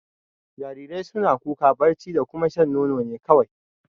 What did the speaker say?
Jarirai suna kuka, barci da kuma shan nono ne kawai.